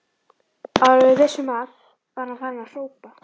Áður en við vissum af var hann farinn að hrópa